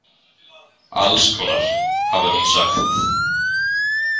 Alls konar, hafði hún sagt.